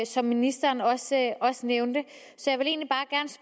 som ministeren også også nævnte så